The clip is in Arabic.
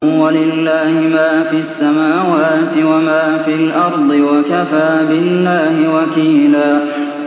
وَلِلَّهِ مَا فِي السَّمَاوَاتِ وَمَا فِي الْأَرْضِ ۚ وَكَفَىٰ بِاللَّهِ وَكِيلًا